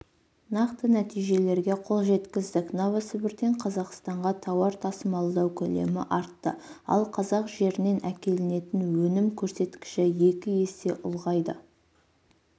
нақты нәтижелерге қол жеткіздік новосібірден қазақстанға тауар тасымалдау көлемі артты ал қазақ жерінен әкелінетін өнім көрсекіші екі есе ұлғайды